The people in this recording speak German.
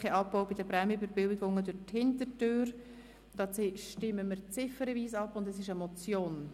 Sie haben Ziffer 1 mit 97 Nein- gegen 46 Ja-Stimmen bei 0 Enthaltungen abgelehnt.